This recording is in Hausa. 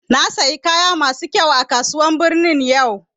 Na siya kaya masu kyau a kasuwar birni yau